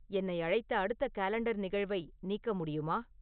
என்னை அழைத்த அடுத்த காலண்டர் நிகழ்வை நீக்க முடியுமா